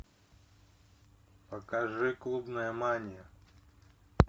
покажи клубная мания